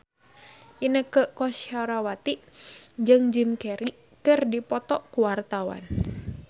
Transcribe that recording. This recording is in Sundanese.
Inneke Koesherawati jeung Jim Carey keur dipoto ku wartawan